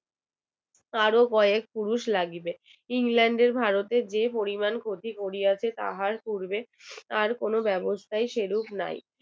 england ভারতের যে পরিমাণ ক্ষতি করিয়াছে তাহার পূর্বে আর কোন ব্যবস্থাই সেরূপ নাই